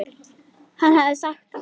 Hann hafði sagt það.